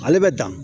Ale bɛ dan